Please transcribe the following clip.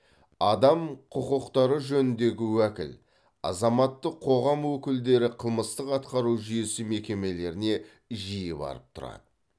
адам құқықтары жөніндегі уәкіл азаматтық қоғам өкілдері қылмыстық атқару жүйесі мекемелеріне жиі барып тұрады